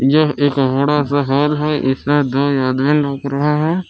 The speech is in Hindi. यह एक बड़ा सा हाॅल है इसमें दो आदमीन लग रहा है।